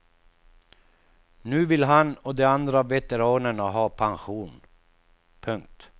Nu vill han och de andra veteranerna ha pension. punkt